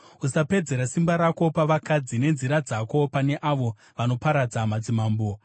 usapedzera simba rako pavakadzi, nenzira dzako pane avo vanoparadza madzimambo.